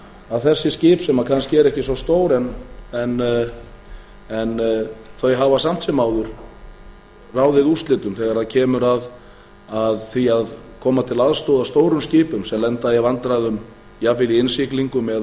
að þessi skip sem kannski eru ekki svo stór en þau hafa samt sem áður ráðið úrslitum þegar kemur að því að koma til aðstoðar stórum skipum sem lenda í vandræðum jafnvel í